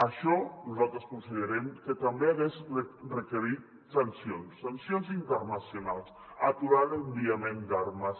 això nosaltres considerem que també hagués requerit sancions sancions inter·nacionals aturar l’enviament d’armes